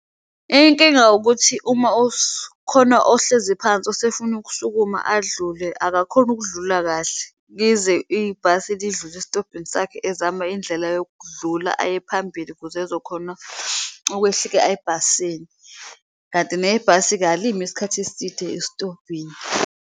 Inkinga ukuthi uma khona ohleziphansi usefuna ukusukuma adlule, akakhoni ukudlula kahle lize ibhasi lidlule esitobhini sakhe ezama indlela yokudlula aye phambili, ukuze ezokhona okwehlika ebhasini kanti nebhasi-ke alimi isikhathi eside estobhini.